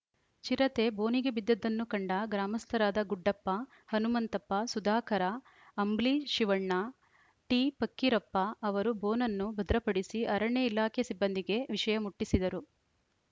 ಚಿರತೆ ಬೋನಿಗೆ ಬಿದ್ದಿದ್ದನ್ನು ಕಂಡ ಗ್ರಾಮಸ್ಥರಾದ ಗುಡ್ಡಪ್ಪ ಹನುಮಂತಪ್ಪ ಸುಧಾಕರ ಅಂಬ್ಲಿ ಶಿವಣ್ಣ ಟಿಫಕ್ಕಿರಪ್ಪ ಅವರು ಬೋನನ್ನು ಭದ್ರಪಡಿಸಿ ಅರಣ್ಯ ಇಲಾಖೆ ಸಿಬ್ಬಂದಿಗೆ ವಿಷಯ ಮುಟ್ಟಿಸಿದರು